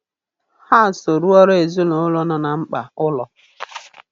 Ha so rụọrọ ezinụụlọ no na mkpa ụlọ.